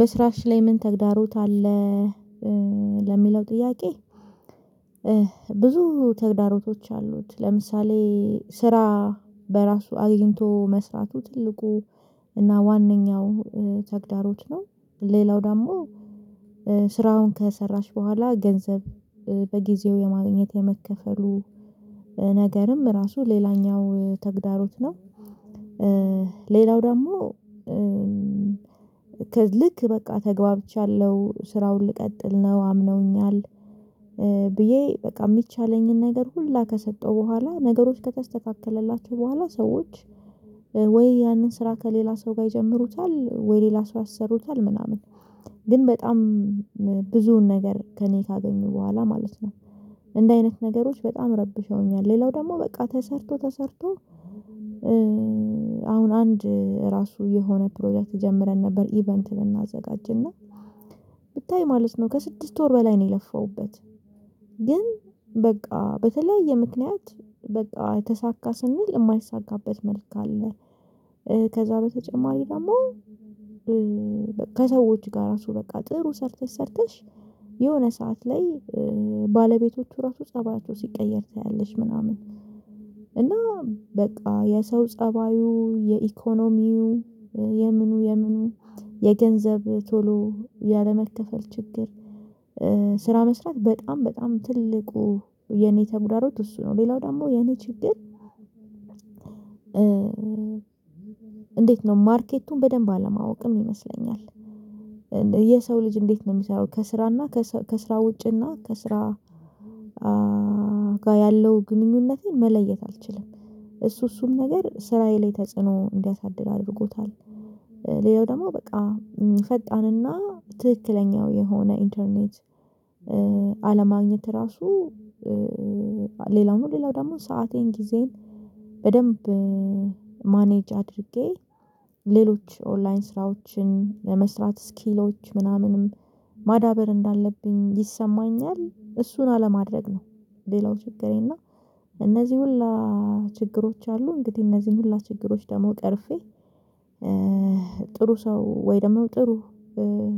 በስራሽ ላይ ምን ተግዳሮት አለ? ለሚለው ጥያቄ። ብዙ ተግዳሮቶች አሉት። ለምሳሌ ስራ በራሱ አግኝቶ መስራቱ ትልቁ እና ዋንኛው ተግዳሮት ነው። ሌላው ደግሞ ስራውን ከሰራሽ በኋላ ገንዘብ በጊዜው የማግኘት የመከፈሉ ነገርም ራሱ ሌላኛው ተግዳሮት ነው። ሌላው ደግሞ ከልክ በቃ ተግባብቻለሁ ስራውን ልቀጥል ነው አምነውኛል። ብዬ በቃ የሚቻለኝን ነገር ሁላ ከሰጠው በኋላ ነገሮች ከተስተካከለላቸው በኋላ ሰዎች ወይ ያንን ስራ ከሌላ ሰው ጋር ይጀምሩታል ወይ ሌላ ሰው ያሰሩታል ምናምን ግን በጣም ብዙ ነገር ከእኔ ካገኘኙ በኋላ ማለት ነው። እንዲ አይነት ነገሮች በጣም ረብሸውኛል። ሌላው ደግሞ በቃ ተሰርቶ ተሰርቶ አሁን አንድ ራሱ የሆነ ፕሮጀክት ጀምረን ነበር ኢቨንት ልናዘጋጅና ብታይ ማለት ነው ከስድስት ወር በላይ ነው የለፋውበት። ግን በቃ በተለያየ ምክንያት በቃ ተሳካ ስንል የማይሳካበት መልክ አለ። ከዛ በተጨማሪ ደግሞ ከሰዎች ጋር ራሱ በቃ ጥሩ ሰርተሽ ሰርተሽ የሆነ ሰዓት ላይ ባለቤቶቹ ራሱ ፀባያቸው ሲቀየር ታያለሽ ምናምን እና በቃ የሰው ፀባዩ የኢኮኖሚው የምኑ የምኑ የገንዘብ ቶሎ ያለመከፈል ችግር። ስራ መስራት በጣም በጣም ትልቁ የኔ ተጉዳሮት እሱ ነው። ሌላው ደግሞ የኔ ችግር። እንዴት ነው ማርኬቱን በደንብ አለማወቅም ይመስለኛል። የሰው ልጅ እንዴት ነው የሚሰራው ከስራና ከሰ ከስራ ውጭ እና ከስራ ጋር ያለው ግንኙነቴን መለየት አልችልም። እሱ እሱም ነገር ስራዬ ላይ ተጽዕኖ እንዲያሳድር አድርጎታል። ሌላው ደግሞ በቃ ፈጣንና ትክክለኛው የሆነ ኢንተርኔት አለማግኘት ራሱ ሌላው ነው። ሌላው ደግሞ ሰአቴን ጊዜን በደንብ ማኔጅ አድርጌ ሌሎች ኦንላይን ስራዎችን ለመስራት ስኪሎች ምናምንም ማዳበር እንዳለብኝ ይሰማኛል እሱን አለማድረግ ነው። ሌላው ችግሬ እና እነዚህ ሁላ ችግሮች አሉ። እንግዲህ እነዚህን ሁላ ችግሮች ደግሞ ቀርፌ ጥሩ ሰው ወይ ደግሞ ጥሩ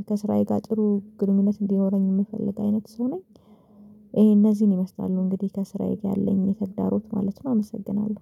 ከስራዬ ጋር ጥሩ ግንኙነት እንዲኖረኝ የምፈልግ አይነት ሰው ነኝ። ይሄ እነዚህን ይመስላሉ እንግዲህ ከስራዬ ጋር ያለኝ ተዳሮት ማለት ነው። አመሰግናለሁ